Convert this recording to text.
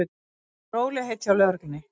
Rólegheit hjá lögreglunni